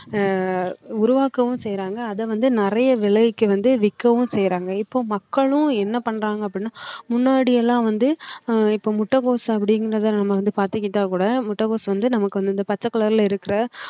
ஆஹ் உருவாக்கவும் செய்யறாங்க அதை வந்து நிறைய விலைக்கு வந்து விற்கவும் செய்றாங்க இப்போ மக்களும் என்ன பண்றாங்க அப்படின்னா முன்னாடி எல்லாம் வந்து ஆஹ் இப்போ முட்டைக்கோஸ் அப்படிங்கறத நாம வந்து பாத்துக்கிட்டா கூட முட்டைகோஸ் வந்து நமக்கு அந்த பச்சை color ல இருக்குற